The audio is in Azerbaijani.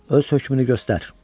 Öz hökmünü göstər.